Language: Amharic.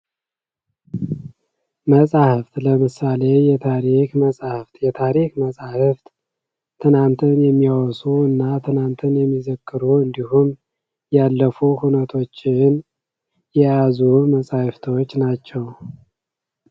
መጽሐፍ ለምሳሌ የታሪክ መጽሐፍ የታሪክ መጻሕፍት ትናንትን የሚያወሱ እና ትናንትን የሚዘክሩ እንድሁም ያለፉ ሁነቶችን የያዙ መጻሕፎቶች ናቸው።